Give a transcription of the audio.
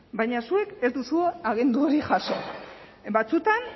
baina zuek ez duzue agindu hori jaso batzuetan